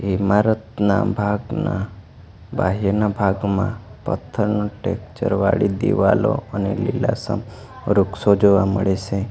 ઇમારતના ભાગના બાહેરના ભાગમાં પથ્થરનું ટેકચર વાડી દિવાલો અને લીલાસમ વૃક્ષો જોવા મળે સે.